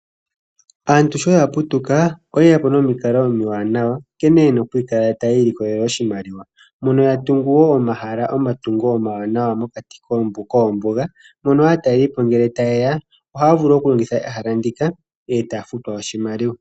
Aantu sho ya putuka oyeya po nomikalo omiwanawa nkene yena okukala taya ilikolele oshimaliwa. Mono ya tungu wo omatungo omawanawa mokati koombuga, mono aatalelipo ngele taye ya ohaya vulu okulongitha ehala ndika, e taya futwa oshimaliwa.